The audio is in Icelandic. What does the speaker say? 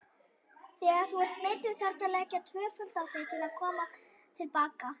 Þegar þú ert meiddur þarftu að leggja tvöfalt á þig til að koma til baka.